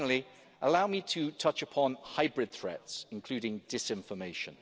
Lastly, allow me to touch on hybrid threats, including disinformation.